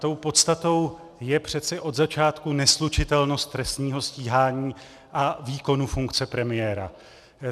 Tou podstatou je přece od začátku neslučitelnost trestního stíhání a výkonu funkce premiéra.